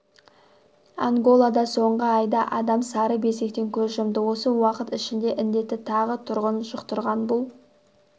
анголада соңғы айда адам сары безгектен көз жұмды осы уақыт ішінде індетті тағы тұрғын жұқтырған бұл